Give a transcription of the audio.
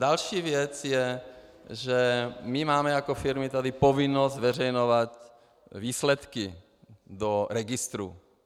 Další věc je, že my máme jako firmy tady povinnost zveřejňovat výsledky do registru.